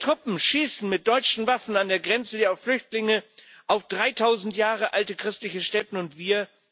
Seine Truppen schießen mit deutschen Waffen an der Grenze auf Flüchtlinge, auf 3000 Jahre alte christliche Stätten, und wir?